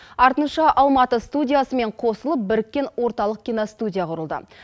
артынша алматы студиясымен қосылып біріккен орталық киностудия құрылды